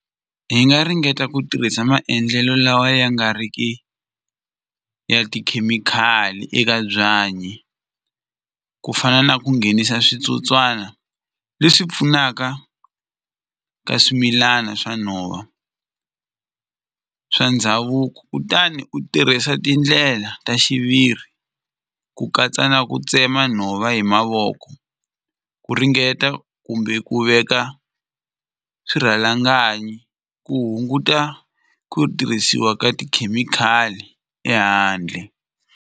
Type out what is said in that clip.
Hi nga ringeta ku tirhisa maendlelo lawa ya nga ri ki ya tikhemikhali eka byanyi ku fana na ku nghenisa switsotswana leswi pfunaka ka swimilana swa nhova swa ndhavuko kutani u tirhisa tindlela ta xiviri ku katsa na ku tsema nhova hi mavoko ku ringeta kumbe ku veka swirhalanganyi ku hunguta ku tirhisiwa ka tikhemikhali ehandle.